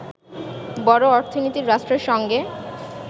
বড় অর্থনীতির রাষ্ট্রের সঙ্গে